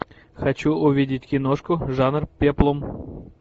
хочу увидеть киношку жанр пеплум